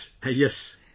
Yes... Yes